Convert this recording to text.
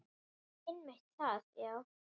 Einmitt það, já.